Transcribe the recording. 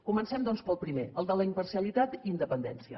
comencem doncs pel primer el de la imparcialitat i independència